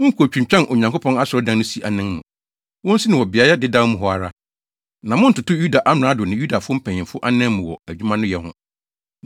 Monnkotwintwan Onyankopɔn asɔredan no si anan mu. Wonsi no wɔ beae dedaw mu hɔ ara, na monntoto Yuda amrado ne Yudafo mpanyimfo anan mu wɔ adwuma no yɛ ho.